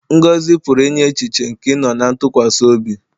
Ngọzi pụrụ inye echiche nke ịnọ ná ntụkwasị obi.